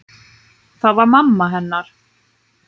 Það var mamma hennar.